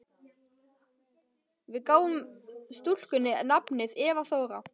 Við gáfum stúlkunni nafnið Eva Þóra.